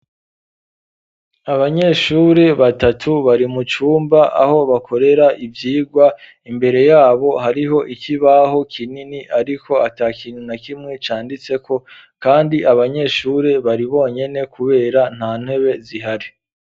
Abanyeshure batatu bari mu cumba aho bakorera ivyigwa imbere yabo hariho ikibaho kinini ariko ata kintu na kimwe canditseko kandi abanyeshure bari bonyene kubera nta ntebe zihari.